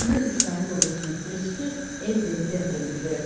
Bunu İsrail ordusunun sözçüsü Effie Defri bildirib.